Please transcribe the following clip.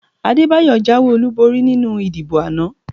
Adébáyọ̀ jáwé olúborí nínú ìdìbò àná